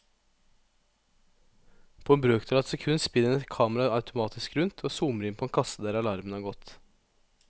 På en brøkdel av et sekund spinner et kamera automatisk rundt og zoomer inn på en kasse der alarmen har gått.